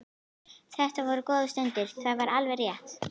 Þetta voru góðar stundir, það var alveg rétt.